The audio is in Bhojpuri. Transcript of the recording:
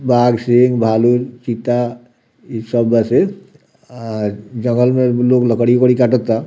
बाघ सिंघ भालू चिता इ सब बस अ जंगल में भी लोग लकड़ी-उकड़ी काटो ता।